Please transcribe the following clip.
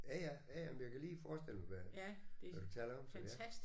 Ja ja. Ja ja men jeg kan lige forestille mig hvad hvad du taler om så ja